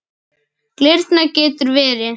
Glyrna getur verið